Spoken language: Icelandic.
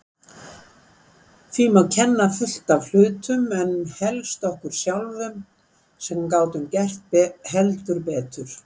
Því má kenna fullt af hlutum en helst okkur sjálfum sem gátum gert heldur betur.